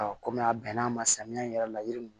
kɔmi a bɛnn'a ma samiya in yɛrɛ la yiri m